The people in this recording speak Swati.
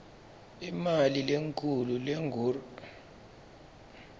imali lenkhulu lengur